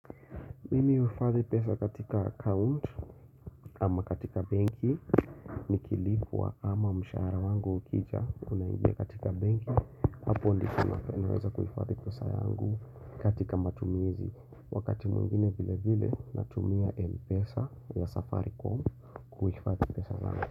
Mimi huhifadhi pesa katika account ama katika banki nikilipwa ama mshahara wangu ukija unaingia katika benki hapo ndiko ninaweza kuhifadhi pesa yangu katika matumizi wakati mwingine vile vile natumia mpesa ya safaricom kuifadhi pesa zangu.